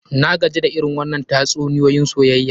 Na gaji da irin wannann tatsuniyoyin soyayya.